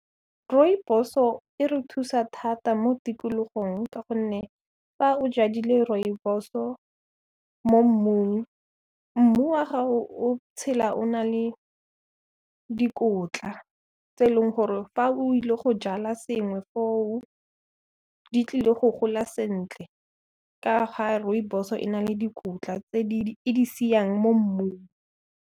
Rooibos-o e re thusa thata mo tikologong ka gonne fa o jadile Rooibos-o mo mmung, mmu wa gago o tshela o na le dikotla tse e leng gore fa o ile go jala sengwe foo, di tlile go gola sentle ka ga Rooibos-o e na le dikotla tse e di siang mo mmung.